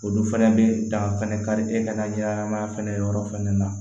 Olu fɛnɛ bɛ dan fɛnɛ kari e ka ɲɛnɛmaya fɛnɛ yɔrɔ fɛnɛ na